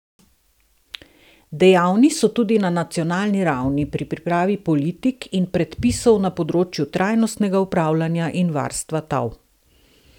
Dejavni so tudi na nacionalni ravni pri pripravi politik in predpisov na področju trajnostnega upravljanja in varstva tal.